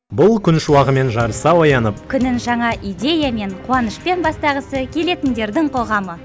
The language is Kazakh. бұл күн шуағымен жарыса оянып күнін жаңа идеямен қуанышпен бастағысы келетіндердің қоғамы